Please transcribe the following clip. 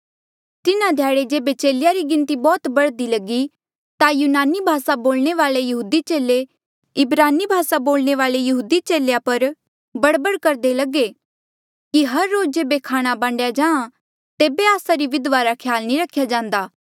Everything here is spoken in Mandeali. तिन्हा ध्याड़े जेबे चेलेया री गिणती बौह्त बढ़दी लगी ता यूनानी भासा बोलणे वाल्ऐ यहूदी चेले इब्रानी भासा बोलणे वाल्ऐ यहूदी चेलेया पर बड़बड़ करदे लगे कि हर रोज जेबे खाणा बांडया जाहाँ तेबे आस्सा री विधवा रा ख्याल नी रख्या जांदा